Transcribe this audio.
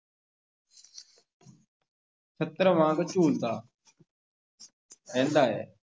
ਛਤਰ ਵਾਂਗ ਝੂਲਦਾ ਰਹਿੰਦਾ ਹੈ।